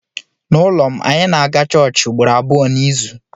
N’ụlọ m, anyị na-aga chọọchị ugboro abụọ n’izu.